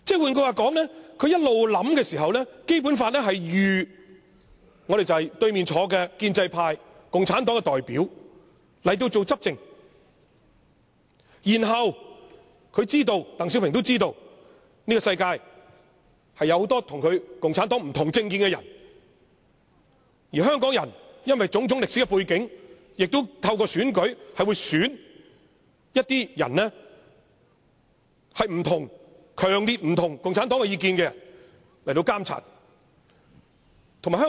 換句話說，他一直思量的時候，《基本法》預計了由坐在對面的建制派、共產黨的代表執政，鄧小平知道這個世界有很多與共產黨持不同政見的人，而香港人因為種種歷史背景，亦會透過選舉選出一些與共產黨有強烈不同意見的人進行監察。